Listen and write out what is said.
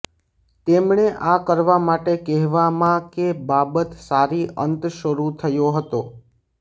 તેમણે આ કરવા માટે કહેવામાં કે બાબત સારી અંત શરૂ થયો હતો